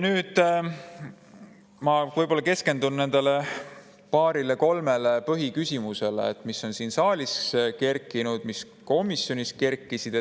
Nüüd ma keskendun nendele paarile-kolmele põhiküsimusele, mis on siin saalis kerkinud ja mis komisjonis kerkisid.